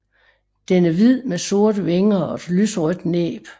Den er hvid med sorte vinger og et lyserødt næb